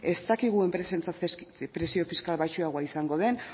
ez dakigu enpresentzat presio fiskal baxuagoa izango duen